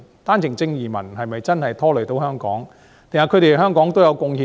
單程證移民是否真的拖累了香港，還是對香港也有貢獻呢？